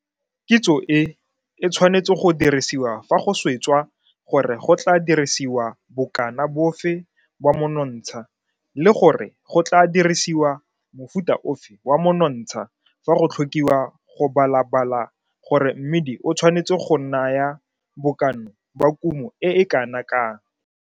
Kitso e, e tshwanetse go dirisiwa fa go swetswa gore go tlaa dirisiwa bokana bofe ba monontsha le gore go tlaa dirisiwa mofuta ofe wa monontsha fa go tlhokiwa go balabala gore mmidi o tshwanetse go naya bokana ba kumo e e kana kang.